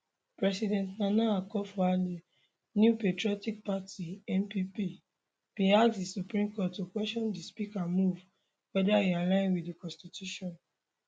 president nana akufoaddo new patriotic party npp bin ask di supreme court to question di speaker move weather e align wit di constitution